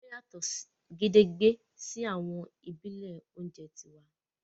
Wón yàtò gedegbe sí àwọn ìbílè oúnjẹ tiwa